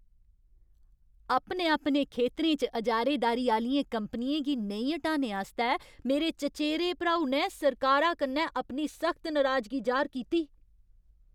अपने अपने खेतरें च अजारेदारी आह्लियें कंपनियें गी नेईं ह्टाने आस्तै मेरे चचेरे भ्राऊ ने सरकारा कन्नै अपनी सख्त नराजगी जाह्‌र कीती।